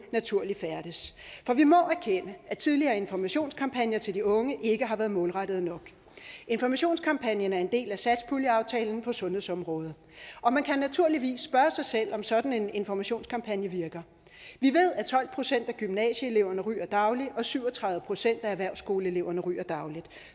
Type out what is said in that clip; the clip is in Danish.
naturligt færdes for vi må erkende at tidligere informationskampagner til de unge ikke har været målrettede nok informationskampagnen er en del af satspuljeaftalen på sundhedsområdet man kan naturligvis spørge sig selv om sådan en informationskampagne virker vi ved at tolv procent af gymnasieeleverne ryger dagligt og at syv og tredive procent af erhvervsskoleeleverne ryger dagligt